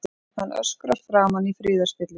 Hann öskrar framan í friðarspillinn.